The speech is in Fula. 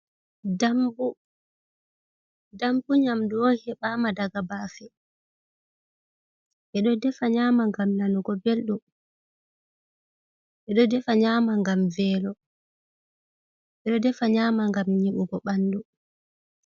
Dambu nyamdu on hebama daga bafe, bedo nyama ngam nanugo beldu, bedo defa nyama gam velo, edo defa nyama gam nyebugo bandu.